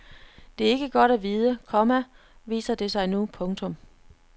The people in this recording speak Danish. Det er ikke godt at vide, komma viser det sig nu. punktum